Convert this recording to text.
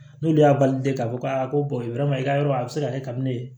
N'olu y'a k'a fɔ a ko i ka yɔrɔ a bɛ se ka kɛ kabini